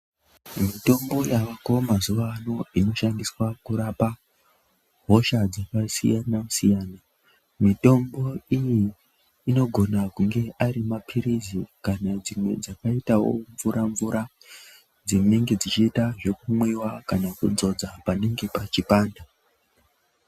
Mitombo yaako mazuwa ano inoshandiswa kurapa hosha dzakasiyana siyana. Mitombo iyi inogona kunge ari mapirizi kana kuti dzimwe dzakaita wo mvura mvura. Dzinenge dzichiita zvekumwiwa kana kudzodza panenge pechipanda